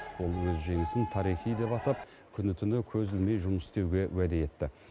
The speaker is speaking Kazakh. ол өз жеңісін тарихи деп атап күні түні көз ілмей жұмыс істеуге уәде етті